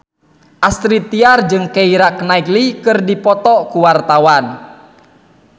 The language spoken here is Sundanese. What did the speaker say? Astrid Tiar jeung Keira Knightley keur dipoto ku wartawan